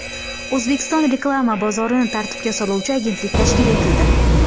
O‘zbekiston reklama bozorini tartibga soluvchi agentlik tashkil etildi.